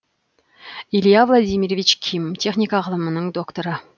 илья владимирович ким техника ғылымының докторы